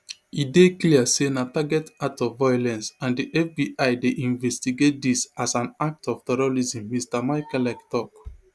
e dey clear say na target act of violence and di fbi dey investigate dis as an act of terrorism mr michalek tok